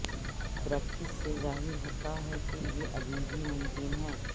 practice سے ظاہر ہوتا ہے کہ یہ ابھی بھی ممکن ہے